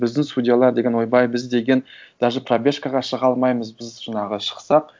біздің судьялар деген ойбай біз деген даже пробежкаға шыға алмаймыз біз жаңағы шықсақ